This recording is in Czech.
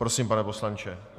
Prosím, pane poslanče.